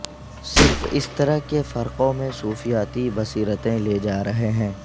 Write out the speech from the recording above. صرف اس طرح کے فرقوں میں صوفیاتی بصیرتیں لے جا رہے ہیں